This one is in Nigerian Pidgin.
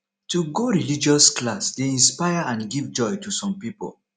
to go religious class de inspire and give joy to some pipo